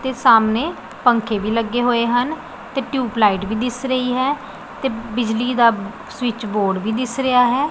ਤੇ ਸਾਮਣੇ ਪੰਖੇ ਵੀ ਲੱਗੇ ਹੋਏ ਹਨ ਤੇ ਟਿਊਬਲਾਈਟ ਵੀ ਦਿਸ ਰਹੀ ਹੈ ਤੇ ਬਿਜਲੀ ਦਾ ਸਵਿਚ ਬੋਰਡ ਵੀ ਦਿਸ ਰਿਹਾ ਹੈ।